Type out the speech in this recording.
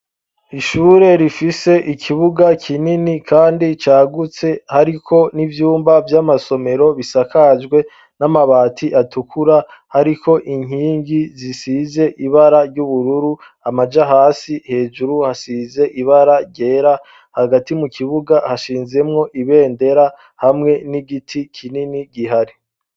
Ishure rifise ikibuga kinini kandi cagutse, hariko n'ivyumba vy'amasomero bisakajwe n'amabati atukura, hariko inkingi zisize ibara ry'ubururu amaja hasi, hejuru hasize ibara ryera, hagati mu kibuga hashinzemwo ibendera hamwe n'igiti kinini gihari.